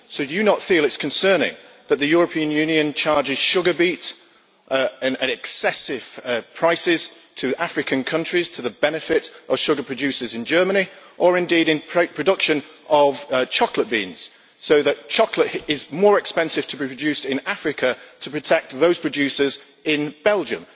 So do you not feel it is concerning that the European Union charges sugar beet at excessive prices to African countries to the benefit of sugar producers in Germany, or indeed in the production of cocoa beans, so that chocolate is more expensive to be produced in Africa, to protect those producers in Belgium?